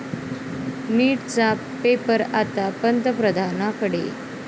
नीट'चा 'paper' आता पंतप्रधानांकडे!